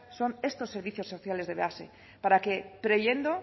son estos servicios sociales de base para que previendo